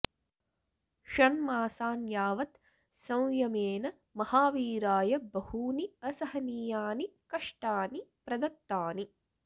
षण्मासान् यावत् संयमेन महावीराय बहूनि असहनीयानि कष्टानि प्रदत्तानि